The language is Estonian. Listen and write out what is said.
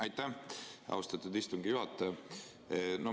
Aitäh, austatud istungi juhataja!